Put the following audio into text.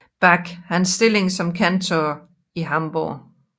Bach hans stilling som kantor i Hamborg